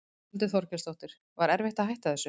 Þórhildur Þorkelsdóttir: Var erfitt að hætta þessu?